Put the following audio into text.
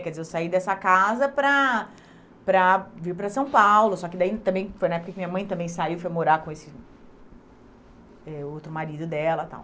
Quer dizer, eu saí dessa casa para para vir para São Paulo, só que daí também foi na época que minha mãe também saiu, foi morar com esse eh outro marido dela e tal.